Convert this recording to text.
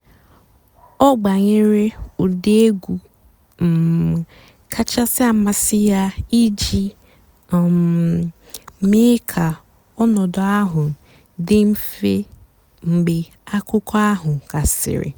ọ́ gbànyèré ụ́dị́ ègwú um kàchàsị́ àmásị́ yá ìjì um méé kà ọ̀ nọ̀dụ́ àhú́ dị́ m̀fè mg̀bé àkụ́kọ̀ àhú́ gàsị́rị́.